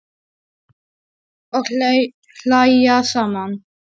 Og hlæja saman.